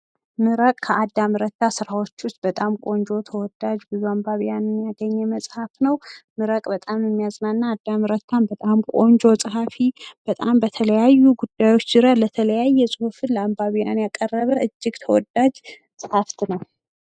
መረቅ ከአዳም ረታ ስራዎች ዉስጥ በጣም ቆጆ ተወዳጅ ብዙ አንባቢያንን ያገኘ መፅሀፍ ነዉ። ምረቅ በጣም የሚያዝናና አዳም ረታም በጣም ቆንጆ ፀኃፊ በጣም በተለያዩ ጉዳዮች ዙሪያ ለተለያየ ፁሁፍን ያቀረበ እጅግ ተወዳጅ ፀኃፍት ነዉ።